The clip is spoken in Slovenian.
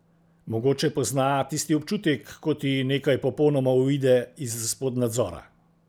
Mogoče pozna tisti občutek, ko ti nekaj popolnoma uide izpod nadzora.